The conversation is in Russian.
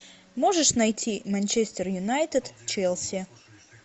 можешь найти манчестер юнайтед челси